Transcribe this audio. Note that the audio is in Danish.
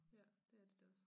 Ja det er det da også